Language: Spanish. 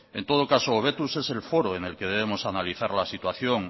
en todo caso hobetuz es el foro en el que debemos analizar la situación